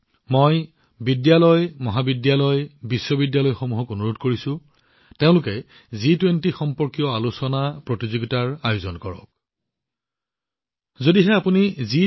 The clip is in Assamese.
মই বিদ্যালয় মহাবিদ্যালয় আৰু বিশ্ববিদ্যালয়সমূহক তেওঁলোকৰ নিজ নিজ স্থানত জি২০ সম্পৰ্কীয় আলোচনা বিতৰ্ক আৰু প্ৰতিযোগিতাৰ সুযোগ সৃষ্টি কৰিবলৈও অনুৰোধ জনাইছো